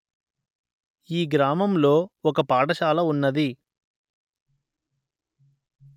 ఈ గ్రామములో ఒక పాఠశాల ఉన్నది